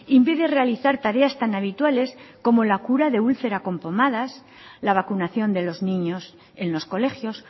impide realizar tareas tan habituales como la cura de ulcera con pomadas la vacunación de los niños en los colegios